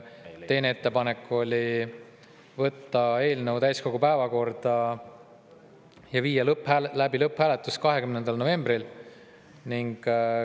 Teine ettepanek oli võtta eelnõu täiskogu päevakorda ja viia läbi lõpphääletus 20. novembril.